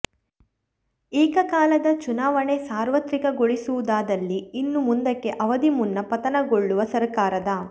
ಏಕಕಾಲದ ಚುನಾವಣೆ ಸಾರ್ವತ್ರಿಕಗೊಳಿಸುವುದಾದಲ್ಲಿ ಇನ್ನು ಮುಂದಕ್ಕೆ ಅವಧಿ ಮುನ್ನ ಪತನಗೊಳ್ಳುವ ಸರಕಾರದ